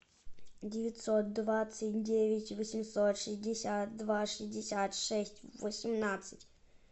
девятьсот двадцать девять восемьсот шестьдесят два шестьдесят шесть восемнадцать